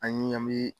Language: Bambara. An ye an mi